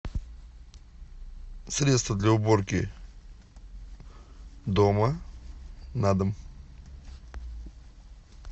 средство для уборки дома на дом